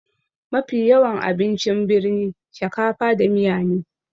Mafi yawan abincin birni shakafa da miya ne